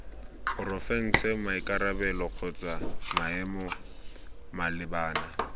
porofense maikarabelo kgotsa maemo malebana